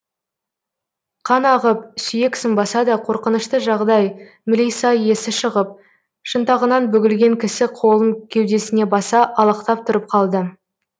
қан ағып сүйек сынбаса да қорқынышты жағдай мілиса есі шығып шынтағынан бүгілген кісі қолын кеудесіне баса алақтап тұрып қалды